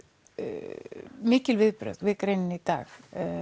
mikið viðbrögð við greininni í dag